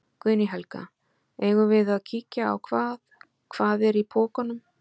Guðný Helga: Eigum við að kíkja á hvað, hvað er í pokunum?